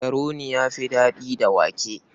Makaroni ya fi daɗi da wake.